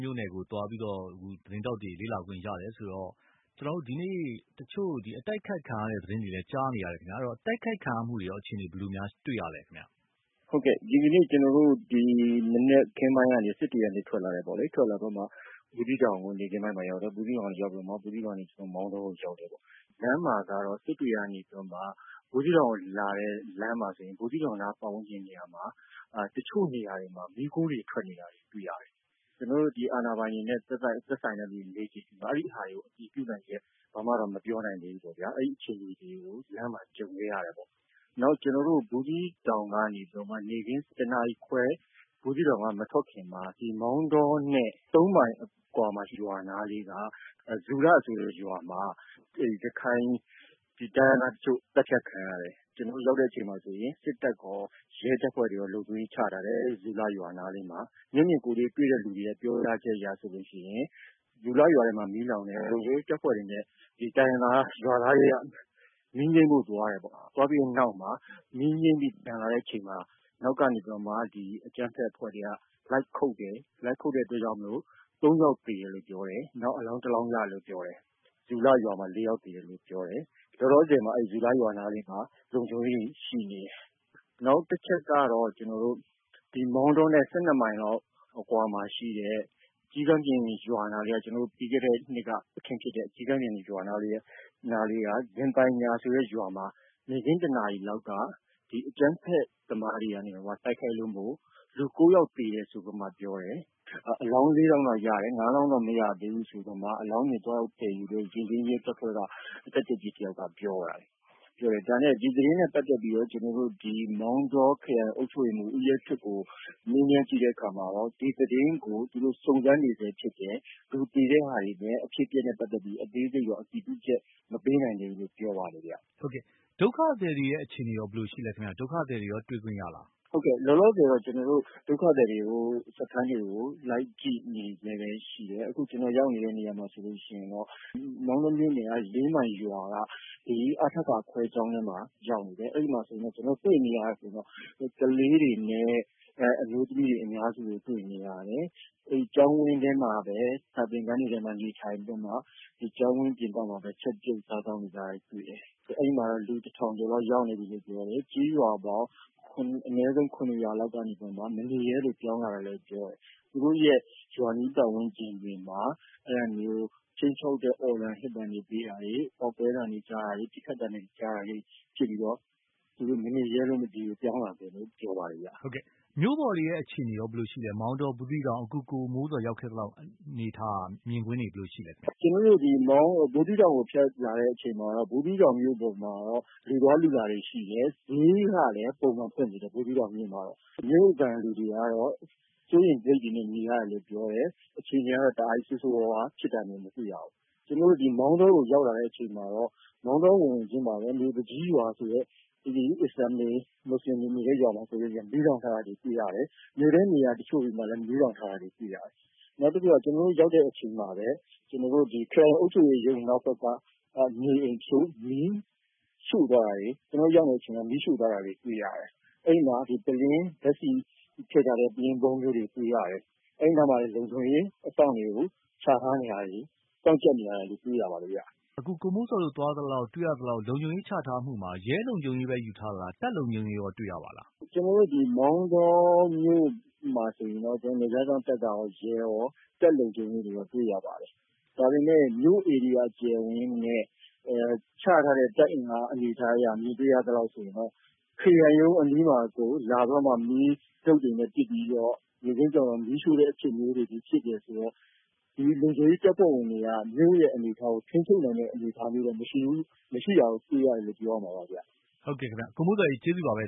မြို့နယ်ကို သွားပြီးတော့ သတင်းထောက်တွေ သွားလေ့လာခွင့်ရတယ်ဆိုတော့ ကျနော်တို့ ဒီနေ့တချို့အတိုက်အခိုက်ခံရတဲ့ သတင်းတွေလည်းကြားနေရတယ်ခင်ဗျ။ ဆိုတော့ တိုက်ခိုက်ခံရတဲ့အခြေအနေတွေရော ဘယ်လိုမျိုးတွေ့ရပါသလဲ။ ကိုမိုးဇော်။ ။ ဟုတ်ကဲ့ ဒီကနေ့ ကျနော်တို့ ဒီမနက်ခင်းပိုင်းကနေ စစ်တွေကနေ ထွက်လာတယ်ပေါ့လေ။ ဘူးသီးတောင်ကို နေ့ခင်းပိုင်းမှာရောက်တယ်။ ဘူးသီးတောင်ကိုရောက် ပြီးတော့ ကျနော်တို့ မောင်တောကို ရောက်တယ်ပေါ့နော်။ လမ်းမှာကတော့ စစ်တွေကနေ ဘူးသီးတောင်ကိုလာတဲ့လမ်းမှာဆိုရင် ဘူးသီးတောင်နားပတ်ဝန်းကျင်နေရာမှာ တချို့နေရာတွေမှာ မီးခိုးတွေ ထွက်နေတာတွေတွေ့ရတယ်။ ကျနော်တို့ ဒီအာဏာပိုင်တွေနဲ့ သက်ဆိုင်တဲ့ လူတွေကိုမေးကြည့်တော့ ဒီ ဟာတွေကို အတည်ပြုနိုင်ချက် ဘာမှတော့မပြောနိုင်သေးဘူးပေါ့နော်။ အဲဒီအခြေအနေတွေကို လမ်းမှာ ကြုံခဲ့ရတယ်ပေါ့နော်။ နောက်ကျနော်တို့ ဘူးသီးတောင်ကကနေ နေ့ခင်း ၁ နာရီခွဲ ဘူးသီးတောင်က မထွက်ခင်မှာ ဒီမောင်တောနဲ့ ၃ မိုင်အကွာ ရွာနားလေးက ဇူလဆိုတဲ့ ရွာမှာ ရခိုင်တိုင်းရင်းသားတချို့သတ်ဖြတ်ခံရတယ်။ ကျနော်တို့ရောက်တဲ့အချိန်မှာဆိုရင် စစ်တပ်ရော၊ ရဲတပ်ဖွဲ့ဝင်တွေရော လုံခြုံရေးချထားတယ် ဇူလရွာနားလေးမှာ။ မျက်မြင်ကိုယ်တွေ့ တွေ့တဲ့လူတွေကနေ ပြောကြားချက်အရဆိုရင် ဇူလရွာမှာ မီးလောင်တယ်၊ လုံခြုံရေးတပ်ဖွဲ့ဝင်တွေ နဲ့ တိုင်းရင်းသားရွာသားတွေက မီးငြိမ်းဖု့ိသွားတယ်ပေါ့။ သွားပြီးတဲ့နောက်မှာ မီးငြိမ်းပြီး ပြန်လာတဲ့အချိန်မှာ နောက်ကနေပြီးတော့မှ အကြမ်းဖက်အဖွဲ့တွေက လိုက်ခုတ်တယ်၊ လိုက်ခုတ်တဲ့အတွက်ကြောင့် ၃ ယောက်သေတယ်လို့ပြောတယ်။ နောက်အလောင်း ၁ လောင်းရတယ်လို့ပြောတယ် ဇူလရွာမှာ ၄ ယောက်သေတယ်လို့ပြောတယ်။ လောလောဆယ်မှာ ဇူလရွာနားမှာ လုံခြုံရေးတွေရှိနေတယ်။ နောက်တချက်ကတော့ ကျနော်တို့ မောင်တောနဲ့ ၁၂ မိုင်လောက်အကွာမှာရှိတဲ့ ကျီးကန်းပြင်ရွာ ၊ ပြီးခဲ့တဲ့ နှစ်က အခင်းဖြစ်တဲ့ရွာနားလေးက ဇင်ပိုင်ညာဆိုတဲ့ရွာနားမှာ နေ့ခင်း ၁ နာရီလောက်က အကြမ်းဖက်သမားတွေက တိုက်ခိုက်တာကြောင့် လူ ၉ ယောက်သေတယ်ဆိုပြီးမှ ပြောတယ်။ အလောင်း ၄ လောင်းတော့ရတယ်၊ ၅ လောင်းတော့မရသေးဘူးဆိုပြီးမှ အလောင်းတွေသွားရောက်သယ်ယူတဲ့ ရဲတပ်ဖွဲ့က တပ်ကြပ်ကြီးတယောက်ပြောတယ်။ ဒီသတင်းနဲ့ ပတ်သက်ပြီးတော့ ကျနော်တို့ မောင်တောခရိုင် အုပ်ချုပ်ရေးမှူး ဦးရဲထွဋ် ကိုမေးကြည့်တဲ့အခါမှာ ဒီသတင်းကို သူတို့ စုံစမ်းနေစဲဖြစ်တယ်။ သူဖြေတာတွေလည်း အဖြစ်အပျက်နဲ့ ပတ်သက်ပြီး အသေးစိတ်တော့အတည်ပြုချက် မပေးနိုင်သေးဘူးလို့ ပြောပါတယ်။ ကိုသားညွှန့်ဦး။ ။ ဒုက္ခသည်တွေရဲ့အခြေအနေရော ဘယ်လိုရှိသလဲ၊ ဒုက္ခသည်တွေနဲ့ရော တွေ့ခွင့်ရသလား။ ကိုမိုးဇော်။ ။ ဟုတ်ကဲ့ လောလောဆည်တော့ ကျနော်တို့ ဒုက္ခသည်စခန်းတွေ ကို လိုက်ကြည့်နေစဲပဲ ရှိတယ်။ အခုကျနော်တို့ရောက်နေတဲ့နေရာမှာဆိုရင် မောင်တောမြို့နယ် ၄ မိုင်ရွာက အထက ခွဲကျောင်းမှာရောက်နေတယ် အဲဒီမှာ ကျနော်တို့ တွေ့နေရတာကတော့ ကလေးတွေနဲ့ အမျိုးသမီးတွေ အများစုကို တွေ့နေရတယ်။ အဲဒီကျောင်းဝန်းထဲမှာပဲ စာသင်ခန်းတွေမှာပဲ နေထိုင်ပြီးတော့မှ ကျောင်းဝန်းပြင်ပမှာပဲ ချက်ပြုတ်စားသောက်နေကြတယ်။ အဲဒီမှာတော့ လူ ၁၀၀၀ ကျော်လောက်ရောက်နေ တယ်လို့ပြောတယ်၊ ကျေးရွာပေါင်း အနည်းဆုံး ၇ ရွာလောက်ကနေပြီးတော့ မနေရဲလို့ ပြောင်းလာတာလို့ပြောတယ်။ သူတို့ရွာအနီးပတ်ဝန်းကျင်တွေမှာ အဲလိုမျိုး ခြိမ်းခြောက်တဲ့ အော်သံဟစ်သံတွေပေးတာတွေ ပေါက်ကွဲသံမျိုးတွေ ပစ်ခတ်သံမျိုးတွေ ကြားတာတွေ ဖြစ်ပြီး သူတို့မနေရဲလို့ပြောင်းလာတာလို့ ပြောပါတယ်ခင်ဗျ။ ကိုသားညွှန့်ဦး။ ။ မြို့ပေါ်အခြေအနေတွေရော ဘယ်လိုရှိပါသလဲ အခုကိုမိုးဇော်ရောက် ခဲ့သလောက် အနေအထားမြင်ကွင်းတွေ ဘယ်လိုရှိသလဲခင်ဗျ။ ကိုမိုးဇော်။ ။ ကျနော်တို့ဒီ ဘူးသီးတောင်ကိုဖြတ်လာတဲ့အချိန်မှာတော့ ဘူးသီးတောင်မြို့ပေါ် မှာတော့ လူသွားလူလာတွေရှိတယ်။ ဈေးကလည်း ပုံမှန်ဖွင့်နေတယ် ဘူးသီးတောင်မြို့မှာတော့ မြို့ခံလူတွေကတော့ စိုးရိမ်စိတ်တွေနဲ့ နေရတယ်လို့ပြောတယ်။ အခြေအနေတွေကတော့ တားကြီးဆိုးဆိုးဝါးဝါး ဖြစ်တာတွေတော့ မတွေ့ရဘူး။ ကျနော်တို့ မောင်တောရောက်ရောက်ခြင်း ဝင်ဝင်ခြင်းမှာပဲ မြို့သူကြီးရွာဆိုတဲ့ မူဆလင်တွေ အစ္စလာမ်တွေနေတဲ့ရွာမှာ မီးလောင်ထားတာတွေတွေ့ရတယ်။ မြို့ထဲနေရာတချို့တွေမှာလည်း မီးလောင်ထားတာတွေတွေ့ရတယ်။ နောက်တခုက ကျနော်တို့ရောက်တဲ့အချိန်မှာပဲ ခရိုင်အုပ်ချုပ်ရေးရုံးနောက်ဘက်က နေအိမ်တချို့ကို မီးရှို့သွားတာတွေ ၊ ကျနော်တို့ ရောက်နေတဲ့အချိန်မှာပဲ မီးရှို့သွားတာတွေ တွေ့ရတယ်။ အဲဒီမှာ ဓါတ်ဆီထည့်ထားတဲ့ ပုလင်း ဗုံးမျိုးတွေတွေ့ရတယ်။ အဲဒီမှာ လုံခြုံရေးအစောင့်တွေကို ချထားတာတွေ စောင့်ကျပ်နေတာတွေကိုတွေ့ရတယ်။ ကိုသားညွှန့်ဦး။ ။ အခုကိုမိုးဇော်တို့ သွားသလောက်၊ တွေ့ရသလောက် လုံခြုံရေး ချထားတာမှ ရဲလုံခြုံရေးပဲလား၊ တပ်လုံခြုံရေးရောတွေ့ရပါသလား။ ကိုမိုးဇော်။ ။ ကျနော်တို့ မောင်တောမြို့မှာဆိုရင်တော့ နယ်ခြားစောင့်တပ်ရော၊ ရဲရော တပ်လုံခြုံရေးရော တွေ့ရပါတယ်။ ဒါပေမယ့် မြို့အကျယ်အဝန်းနဲ့ ချထားတဲ့ တပ်အင်အားမြင်တွေ့ရသလိုဆိုရင်တော့ ခရိုင်ရုံးအနီးမှာကို လာပြီးတော့ တုတ်တွေနဲ့ ပစ်ပြီးတော့ နေ့ခင်းမှာမီးရှို့တယ်ဆိုရင်တော့ ဒီလုံခြုံရေးတပ်ဖွဲ့ဝင်တွေက မြို့အနေအထား ကို ထိန်းချုပ်နိုင်တဲ့အနေအထားတွေတော့မရှိဘူး၊ မရှိတာကိုတွေ့ရ တယ်လို့ ပြောရမှာပါ။ ကိုသားညွှန့်ဦး။ ။ ကိုမိုးဇော် ကျေးဇူးပါပဲ